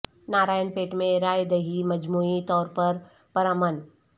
نارائن پیٹ میں رائے دہی مجموعی طور پر پرامن